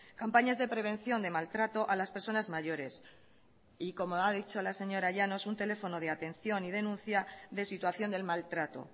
campañas de prevención de maltrato a las personas mayores y como ha dicho la señora llanos un teléfono de atención y denuncia de situación del maltrato